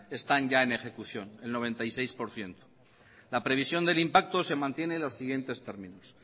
están ya en ejecución noventa y seis por ciento la previsión del impacto se mantiene en los siguientes términos